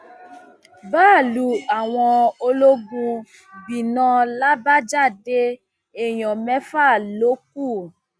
báálùú àwọn ológun gbiná làbájáde èèyàn mẹfà ló kù